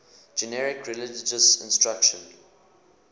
generic religious instruction